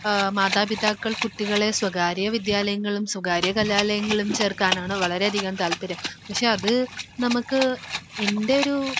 ഏഹ് മാതാപിതാക്കൾ കുട്ടികളെ സ്വകാര്യ വിദ്യാലയങ്ങളിലും സ്വകാര്യ കലാലയങ്ങളിലും ചേർക്കാനാണ് വളരെയധികം താൽപര്യം. അത് നമുക്ക് എന്റൊരു